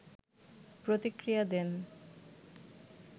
প্রতিক্রিয়া দেন